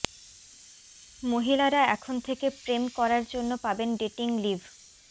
মহিলারা এখন থেকে প্রেম করার জন্য পাবেন ডেটিং লিভ